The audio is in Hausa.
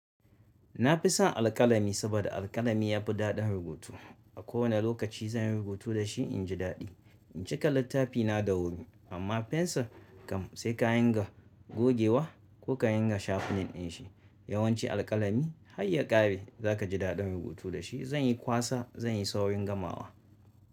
Na fi son alƙalami saboda alƙalami ya fi daɗin rubutu. A kowane lokaci zan yi rubutu da shi in ji daɗi. In cika littafi na da wuri amma fensir kam sai ka yinga gogewa ko ka yinga shafenin shi. Yawanci alƙalami har ya ƙare za ka ji daɗin rubutu da shi. Zanyi kwasa zanyi saurin gamawa.